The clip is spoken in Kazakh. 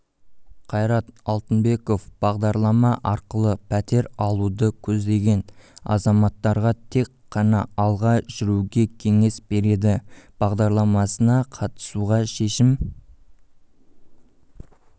қайрат алтынбековбағдарлама арқылы пәтер алуды көздеген азаматтарға тек қана алға жүруге кеңес берді бағдарламасына қатысуға шешім